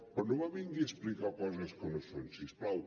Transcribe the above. però no me vingui a explicar coses que no són si us plau